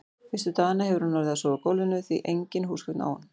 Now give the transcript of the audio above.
Fyrstu dagana hefur hún orðið að sofa á gólfinu, því engin húsgögn á hún.